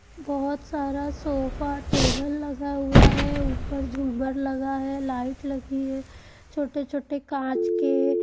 बहुत सारा sofa table लगा हुआ है ऊपर जुमर लगा है लाइट लगी है छोटे छोटे काच के--